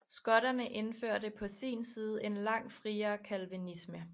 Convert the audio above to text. Skotterne indførte på sin side en langt friere calvinisme